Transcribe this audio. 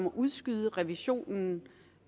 at udskyde revisionen